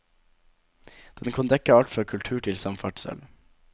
Den kan dekke alt fra kultur til samferdsel.